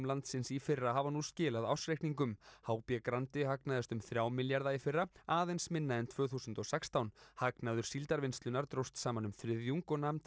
landsins í fyrra hafa nú skilað ársreikningum h b Grandi hagnaðist um þrjá milljarða í fyrra aðeins minna en tvö þúsund og sextán hagnaður Síldarvinnslunnar dróst saman um þriðjung og nam